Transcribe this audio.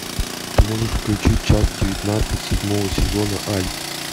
ты можешь включить часть девятнадцать седьмого сезона альф